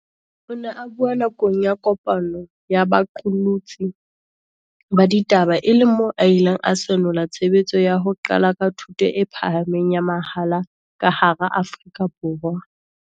O ne a bua nakong ya kopano ya baqolotsi ba ditaba e leng moo a ileng a senola tshebetso ya ho qala ka thuto e pha hameng ya mahala ka hara Afrika Borwa.